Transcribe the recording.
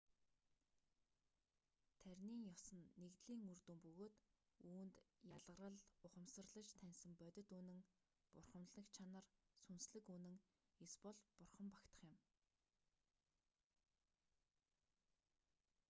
таринын ёс нь нэгдэлийн үр дүн бөгөөд үүнд ялгарал ухамсарлаж таньсан бодит үнэн бурханлаг чанар сүнслэг үнэн эсбол бурхан багтах юм